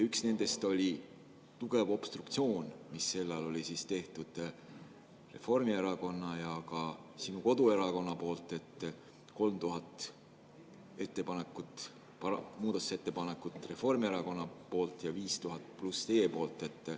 Üks nendest oli tugev obstruktsioon, mida sel ajal tegid Reformierakond ja ka sinu koduerakond: 3000 muudatusettepanekut Reformierakonnalt ja 5000+ teilt.